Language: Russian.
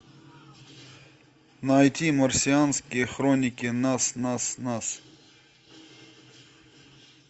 найти марсианские хроники нас нас нас